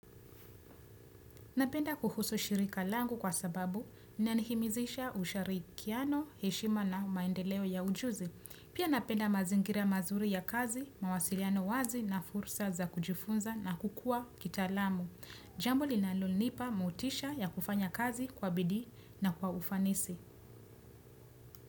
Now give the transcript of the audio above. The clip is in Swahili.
Napenda kuhusu shirika langu kwa sababu, inanihimizisha usharikiano, heshima na maendeleo ya ujuzi. Pia napenda mazingira mazuri ya kazi, mawasiliano wazi na fursa za kujifunza na kukua kita alamu. Jambo linalo nipa motisha ya kufanya kazi kwa bidi na kwa ufanisi.